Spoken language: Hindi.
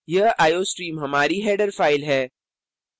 यह iostream हमारी header file है